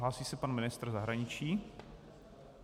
Hlásí se pan ministr zahraničí?